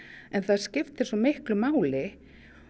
en það skiptir svo miklu máli